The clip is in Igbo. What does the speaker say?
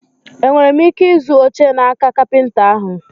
E nwere m ike ịzụ oche n'aka kapịnta ahụ?